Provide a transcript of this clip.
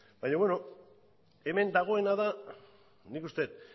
baina beno hemen dagoena da nik uste dut